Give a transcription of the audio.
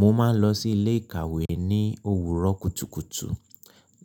Mo máa ń lọ sí ilé ìkàwé ní òwúrọ̀ kùtùkùtù